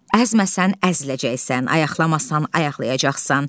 Əzməsən əziləcəksən, ayaqlamasan ayaqlayacaqsan.